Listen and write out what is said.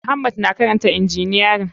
Muhammad na karanta injiniyarin.